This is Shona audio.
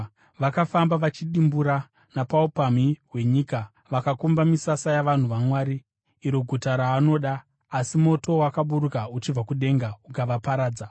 Vakafamba vachidimbura napaupamhi hwenyika vakakomba misasa yavanhu vaMwari, iro guta raanoda. Asi moto wakaburuka uchibva kudenga ukavaparadza.